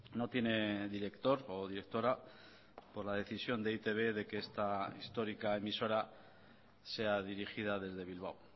no tiene director o directora por la decisión de e i te be de que esta histórica emisora sea dirigida desde bilbao